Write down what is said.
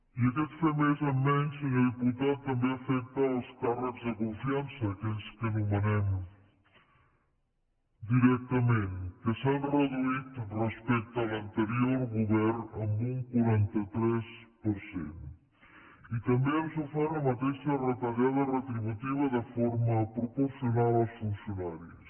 i aquest fer més amb menys senyor diputat també afecta els càrrecs de confiança aquells que nomenem directament que s’han reduït respecte a l’anterior govern en un quaranta tres per cent i també han sofert la mateixa retallada retributiva de forma proporcional als funcionaris